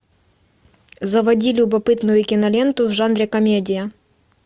заводи любопытную киноленту в жанре комедия